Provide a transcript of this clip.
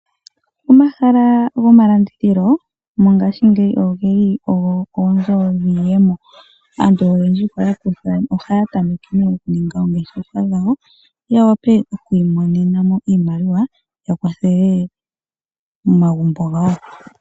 Omahala gomalandithilo mongaashingeyi ogeli ogo oonzo dhiiyemo. Aantu oyendji ohaya tameke okuninga oongeshefa dhawo, ya wape oku imonena mo iimaliwa ya kwathele momagumbo gawo.